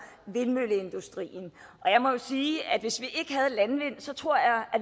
vindmølleindustrien jeg må jo sige at hvis vi ikke havde landvindmøller tror jeg